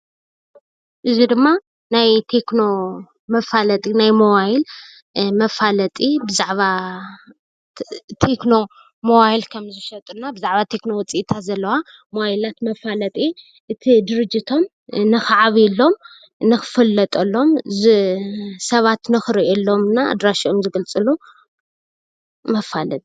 እዙይ ድማ ናይ ቴክኖ መፋለጢ ናይ ሞባይል መፋለጢ ሞባይል ከምዝሸጡ ብዛዕባ ቴክኖ ውፅኢታት ዘለዋ ሞባይል መፋለጢ እቱይ ድርጅቶም ክዓብዮሎም ንክፍሎጦሎም ሰባት ንክርእዮሎም እና ኣድራሸኦም ዝገልፅሉ መፋለጢ።